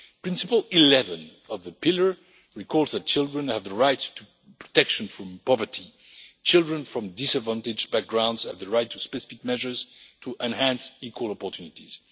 Principle 11 of the Pillar recalls that children have the right to protection from poverty and that children from disadvantaged backgrounds have the right to specific measures to enhance equal opportunities.